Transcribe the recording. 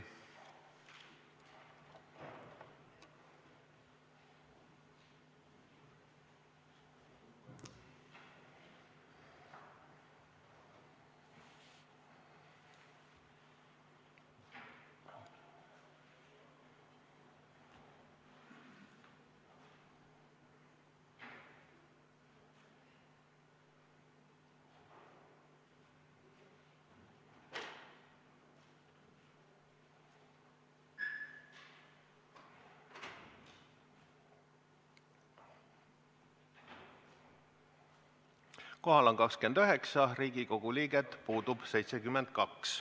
Kohaloleku kontroll Kohal on 29 Riigikogu liiget, puudub 72.